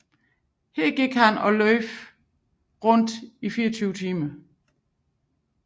Her gik og løb han rundt i 24 timer